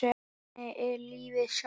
Þannig er lífið sjálft.